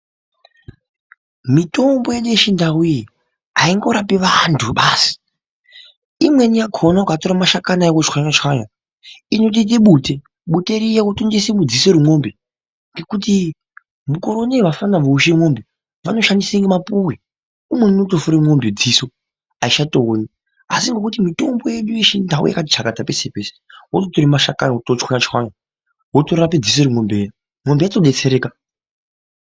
Mitombo yedu yechindau iyi aingorapi antu basi imweni yakona iyi ukatora mashakani ayo wotswanya tswanya inoita Bute Bute Riya wotora wotengesa mudziso remombe ngekuti mukore unowu vapfana vousha mombe vanoshandisa mapuwe umweni anofura mombe dziso aichatoni asi ndokuti mitombo yedu yechindau yakati chakata peshe peshe wototora mashakani wototswanya tswanya wotorapa dziso remombe Riya mombe yotodetsereka.